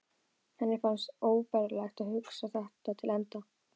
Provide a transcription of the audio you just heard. Henni fannst óbærilegt að hugsa þetta til enda.